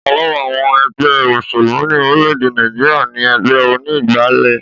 Ọ̀kan lára àwọn ẹgbẹ́ òṣèlú ní orilede Nàìjíríà ni ẹgbẹ oní ìgbàlè